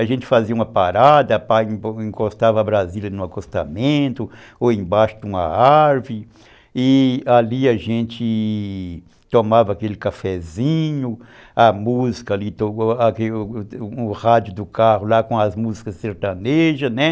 A gente fazia uma parada, encostava a Brasília no acostamento ou embaixo de uma árvore e ali a gente tomava aquele cafezinho, a música ali, o rádio do carro lá com as músicas sertanejas, né?